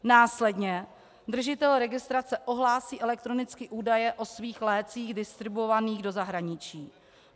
Následně držitel registrace ohlásí elektronicky údaje o svých lécích distribuovaných do zahraničí.